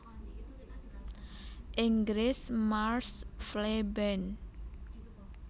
Inggris marsh fleabane